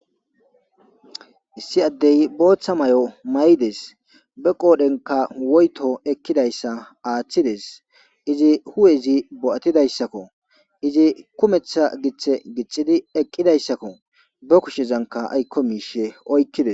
Issi addey bootha mayo mayides.be qoodhenka woyto ekkidayssa aathides izi hu7ezi bo7atidayssakko.izi kumetha giththe gixxidi eqqidaysako be kushezanka aykko miishshe oykkides.